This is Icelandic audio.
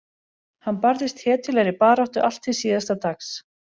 Hann barðist hetjulegri baráttu allt til síðasta dags.